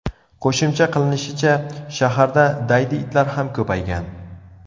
Qo‘shimcha qilinishicha, shaharda daydi itlar ham ko‘paygan.